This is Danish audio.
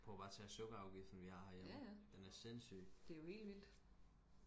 prøv bare og tage sukkerafgiften vi har herhjemme den er sindssyg